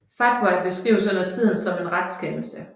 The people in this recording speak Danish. Fatwa beskrives undertiden som en retskendelse